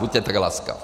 Buďte tak laskav.